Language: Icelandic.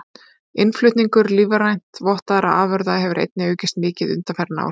Innflutningur lífrænt vottaðra afurða hefur einnig aukist mikið undanfarin ár.